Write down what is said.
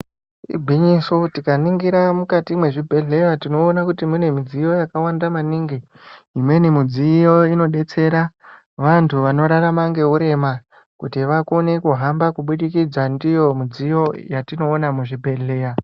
Igwinyiso tikaningira mukati mwezvibhehleya tinoona kuti munemudziyo yakawanda maningi imweni mudziyo inodetsera vantu vanorarama ngeurema kuti vakone kuhamba kubudikidza ndiyo mudziyo yatinoona muzvibhehleya.